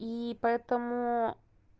и поэтому